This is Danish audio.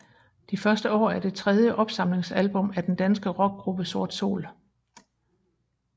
De første år er det tredje opsamlingsalbum af den danske rockgruppe Sort Sol